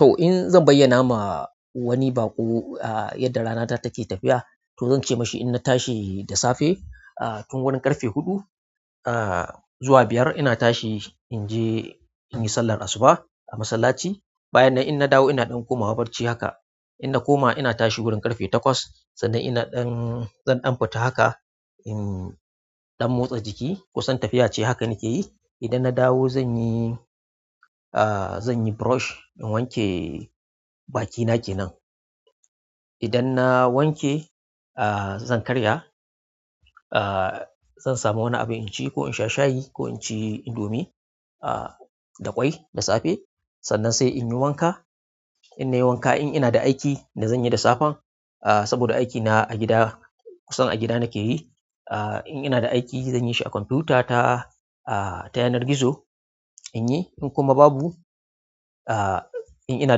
To in zan bayyana ma wani baƙo, ah, yadda rana ta take tafiya, to zan ce ma shi in na tashi da safe, ah, tun wurin ƙarfe huɗu, ah, zuwa biyar ina tashi in je in yi sallar asuba a masallaci. Bayan nan in na dawo ina ɗan komawa barci haka. In na koma ina tashi wurin ƙarfe takwas sannan ina ɗan-- zan ɗan fita haka in ɗan motsa jiki. Kusan tafiya ce haka nake yi. Idan na dawo zan yi, ah, zan yi brush in wanke bakina kenan. Idan na wanke, ah, zan karya, ah, zan samu wani abu in ci ko in sha shayi ko in ci indomi, ah, da ƙwai da safe. Sannan sai in yi wanka. In na yi wanka in ina da aiki da zan yi da safe, ah, saboda aikina a gida kusan a gida nake yi. Ah, in ina da aiki zan yi shi a kwamfutata, ah, ta yanar gizo in yi. In kuma babu, ah, in ina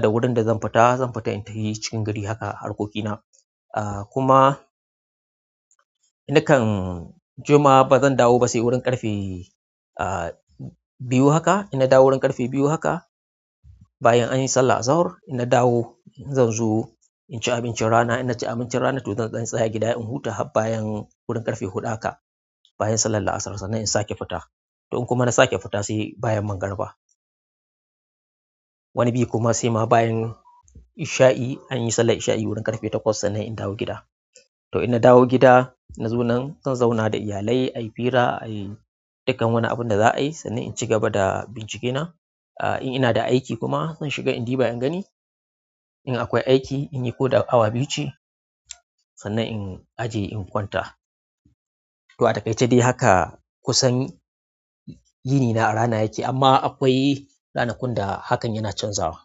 da wurin da zan fita, zan fita in tafi cikin gari haka harkokina. Ah, kuma na kan juma ba zan dawo ba sai wurin ƙarfe, ah, biyu haka. In na dawo wurin ƙarfe biyu haka bayan an yi sallar zohr in na dawo zan zo in ci abincin rana. In na ci abincin rana to zan tsaya gida in huta har bayan wurin ƙarfe huɗu haka bayan sallar asar sannan in sake fita. To in kuma na sake fita sai bayan mangariba. Wani bi kuma sai ma bayan isha'i, an yi sallar isha'i eurin ƙarfe takwas sannan in dawo gida to in na dawo gida na zo na zan zauna da iyalai, ayi fira, ayi dukkan wani abun da za a yi sannan in ci gaba da bincikena. Ah, in ina da aiki kuma zan shiga in ɗiba in gani. In akwai aiki in yi ko da awa biyu ce sannan in aje in kwanta. To, a taƙaice dai haka kusan yinina a rana yake, amma akwai ranakun da hakan yana canzawa.